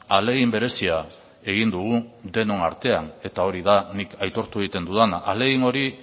ahalegin berezia egin dugu denon artean eta hori da nik hori aitortu egiten dudana ahalegin hori